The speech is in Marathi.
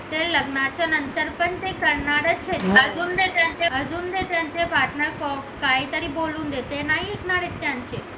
ते लग्नाच्या नंतर पण करणारच आहेत अजून ते त्यांचे partner काहीतरी बोलून देते नाही ऐकणार आहेत त्यांचे